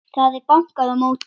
Það var bankað á móti.